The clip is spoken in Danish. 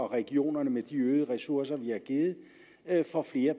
regionerne med de øgede ressourcer vi har givet får flere